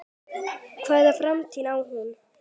Hvaða framtíð á hún?